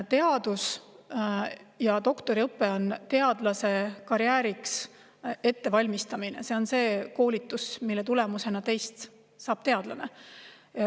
Teadus ja doktoriõpe on teadlaskarjääriks ettevalmistamine, see on koolitus, mille tulemusena saab teist teadlane.